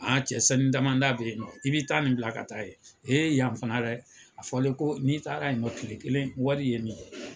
Aa cɛ sanu dama da bɛ yen nɔ, i bɛ taa ni bila ka taa yen , a fɔlen ko n'i taara yen nɔ tile kelen wari ye yen nɔ